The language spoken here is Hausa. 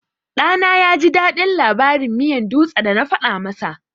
Ɗana yaji daɗin labarin miyan dutse da na faɗa masa.